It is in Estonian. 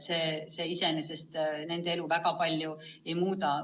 See iseenesest koolide elu väga palju ei muuda.